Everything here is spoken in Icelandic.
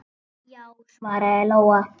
Já, svaraði Lóa.